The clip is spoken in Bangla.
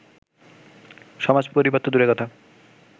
সমাজ, পরিবার তো দূরের কথা